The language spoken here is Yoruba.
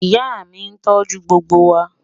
Ìyà mi tó jù gbogbo wa.